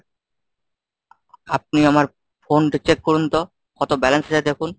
আপনি আমার phone টা check করুন তো, কত balance আছে দেখুন।